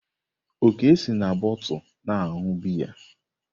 Oke si na bọtu na-aṅụ biya.